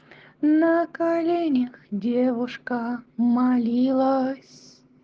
на коленях девушка молилась